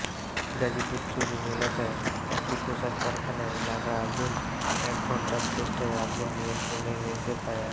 গাজীপুর জরুন এলাকার একটি পোশাক কারখানায় লাগা আগুন এক ঘণ্টার চেষ্টায় আগুন নিয়ন্ত্রণে এনেছে ফায়ার